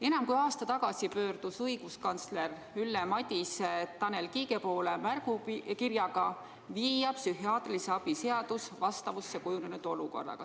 Enam kui aasta tagasi pöördus õiguskantsler Ülle Madise Tanel Kiige poole märgukirjaga viia psühhiaatrilise abi seadus vastavusse kujunenud olukorraga.